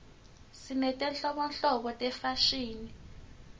sinetinhlobonhlobo tefashini